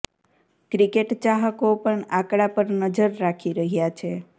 cricket ચાહકો પણ આંકડા પર નજર રાખી રહ્યા છે